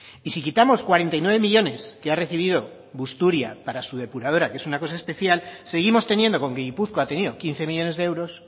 y si quitamos cuarenta y nueve millónes que ha recibido busturia para su depuradora que es una cosa especial seguimos teniendo con que gipuzkoa ha tenido quince millónes de euros